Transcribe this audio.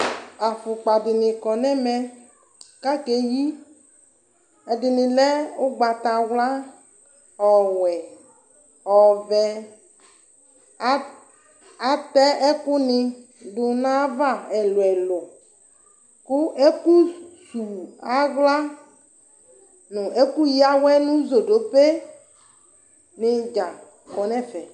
Afukpa fini kɔ nʋ ɛmɛ kʋ akeyi ɛdini lɛ ugnatawla ɔwɛ ɔvɛ ata ɛkʋni dʋ nv ayʋ ava ɛlʋ ɛkʋ kʋ ɛkʋsʋwʋ aɣla nʋ ɛkʋya awɛ nʋ zodope ni dza kɔnʋ ɛfɛ